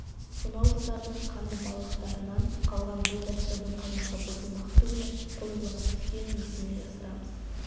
сонау жылдардың қандыбалақтарынан қалған бұл дәстүрдің қаймағы бұзылмақ түгілі қоюлана түскенін несіне жасырамыз